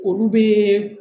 Olu bɛ